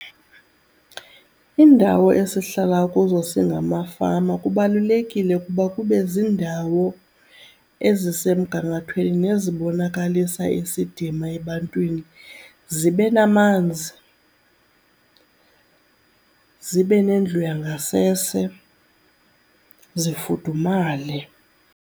Iindawo esihlala kuzo singamafama kubalulekile ukuba kube ziindawo ezisemgangathweni nezibonakalisa isidima ebantwini. Zibe namanzi, zibe nendlu yangasese, zifudumale.